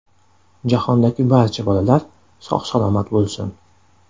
Jahondagi barcha bolalar sog‘-salomat bo‘lsin!